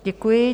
Děkuji.